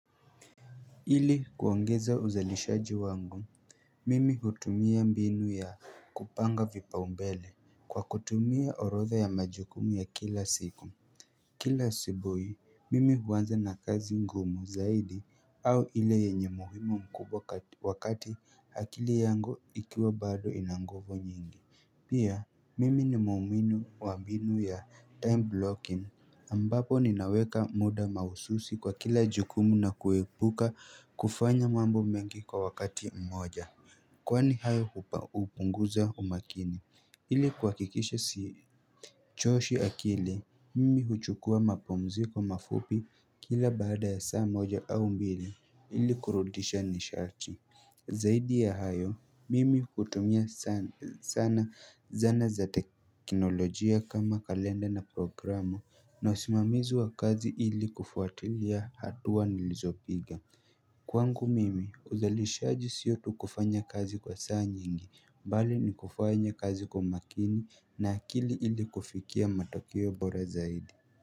Ili kuongeza uzalishaji wangu Mimi hutumia mbinu ya kupanga vipaumbele kwa kutumia orodha ya majukumu ya kila siku Kila asubuhi mimi huanza na kazi ngumu zaidi au ile yenye umuhimu mkubwa wakati akili yangu ikiwa bado ina nguvu nyingi Pia, mimi ni muumini wa mbinu ya time blocking ambapo ninaweka muda mahususi kwa kila jukumu na kuwepuka kufanya mambo mengi kwa wakati mmoja Kwani hayo hupa hupunguza umakini Hili kuhakikisha siichoshi akili mimi huchukua mapumziko mafupi kila baada ya saa moja au mbili ili kurudisha nisharti Zaidi ya hayo, mimi hutumia sana zana za teknolojia kama kalenda na programu na usimamizi wa kazi ili kufuatilia hatuwa nilizopiga Kwangu mimi, uzalishaji siyo tu kufanya kazi kwa saa nyingi, bali ni kufanya kazi kwa makini na akili ili kufikiya matokeo bora zaidi.